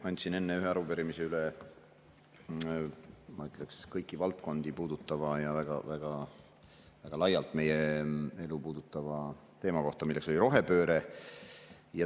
Andsin enne üle ühe arupärimise, ma ütleksin, kõiki valdkondi puudutava ja väga laialt meie elu puudutava teema kohta, milleks on rohepööre.